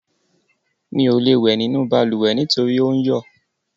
Mi ò lè wẹ̀ nínú balùwẹ̀ nítorí ò ń yọ̀.